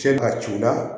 Cɛ ka c'u la